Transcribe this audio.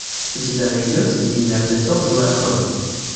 у тебя найдется день мертвецов злая кровь